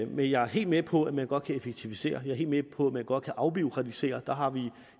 men jeg er helt med på at man godt kan effektivisere helt med på at man godt kan afbureaukratisere der har vi i